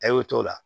A y'o t'o la